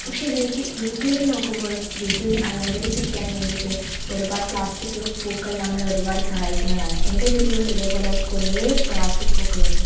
പക്ഷേ വീട്ടി വീട്ടിലേക്ക് നോക്കുമ്പോൾ വീട്ടിൽ അലങ്കരിച്ചിരിക്കാൻ വേണ്ടീട്ട് ഒരുപാട് പ്ലാസ്റ്റിക് പൂക്കൾ നമ്മളെ ഒരുപാട് സഹായിക്കുന്നതാണ് എൻ്റെ വീട്ടിലും ഇതേ പോലേ കുറേ പ്ലാസ്റ്റിക് പൂക്കളുണ്ട്.